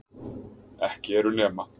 Ekki eru nema